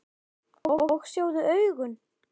Og sjáðu augun!